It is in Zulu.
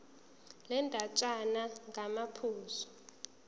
le ndatshana ngamaphuzu